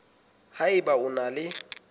ha eba o na le